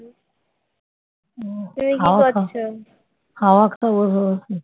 হাওয়া খাব বসে বসে ।